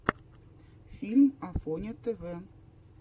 фильм афоня тв